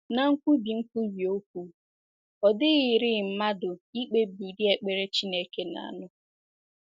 Ná nkwubi nkwubi okwu, ọ dịghịrị mmadụ ikpebi ụdị ekpere Chineke na - anụ.